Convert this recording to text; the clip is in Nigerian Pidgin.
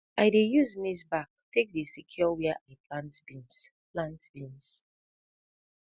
i dey use maize back tak dey secure wia i plant beans plant beans